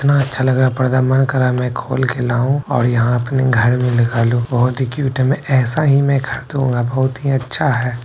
कितना अच्छा लग रहा है पर्दा मन कर रहा है मैं खोल के लाऊँ और यहाँ अपने घर में लगा लूँ | बोहोत ही क्यूट है| मैं ऐसा ही मैं ऐसा ही में खरीदूंगा बोहोत ही अच्छा है।